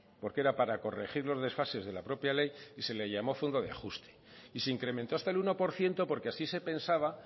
porque era para corregir los desfases de la propia ley y se le llamó fondo de ajuste y se incrementó hasta el uno por ciento porque así se pensaba